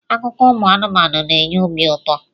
Akụkọ ụmụ anụmanụ na enye obi ụtọ